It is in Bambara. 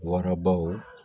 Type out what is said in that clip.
Warabaw